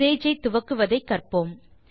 Sage ஐ துவக்குவதை கற்போம்